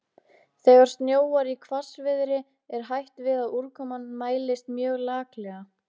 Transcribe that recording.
Þegar snjóar í hvassviðri er hætt við að úrkoman mælist mjög laklega.